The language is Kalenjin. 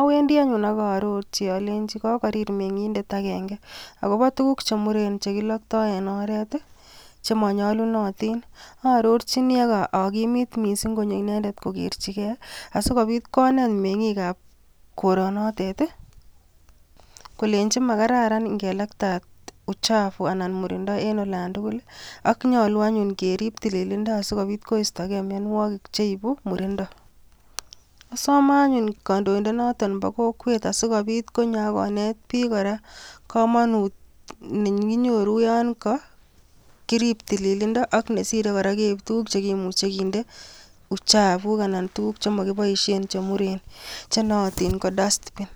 owendii anyun, ak arorchii alenyii kokoriir mengindet agenge, akobo tuguuk chemuren chekiloktoo en oret i,chemonyolunotin. Arorchi missing akamwochi konyo inendet kokerchigei, asikobiit konet mengiik ab Koronotet kolenyi makaran ingelaktaat murindo en olantugul ak nyolu anyun ke riib tililndo sikobiit koistoge mionwogiik cheibu murindo, Asome anyun kondoindet noton bo kok asikobii t konyo akonet book kora komonut nekinyoru yon kokirib tililindo. Ak nesire kora keib tuguk chekimuche kinder chapuk anan kotuguuk chemokinoishien chemuren chenootin ko dustbin